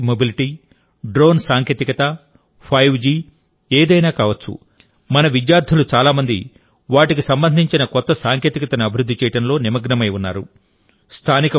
electric mobility drone సాంకేతికత five G ఏదైనా కావచ్చు మన విద్యార్థులు చాలా మంది వాటికి సంబంధించిన కొత్త సాంకేతికతను అభివృద్ధి చేయడంలో నిమగ్నమై ఉన్నారు